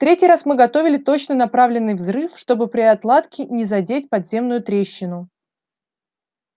в третий раз мы готовили точно направленный взрыв чтобы при отладке не задеть подземную трещину